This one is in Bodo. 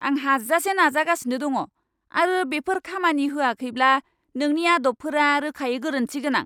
आं हाजासे नाजागासिनो दङ, आरो बेफोर खामानि होआखैब्ला नोंनि आदबफोरा रोखायै गोरोन्थि गोनां।